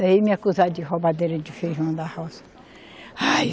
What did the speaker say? Daí me acusaram de roubadeira de feijão da roça. Ai!